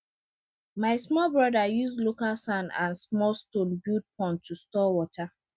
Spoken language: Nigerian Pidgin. my small brother use local sand and small stone build pond to store water